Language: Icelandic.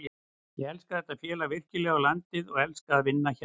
Ég elska þetta félag virkilega og landið og elska að vinna hérna.